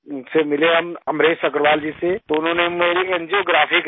फिर मिले हम अमरेश अग्रवाल जी से तो उन्होंने मेरी एंजियोग्राफी करी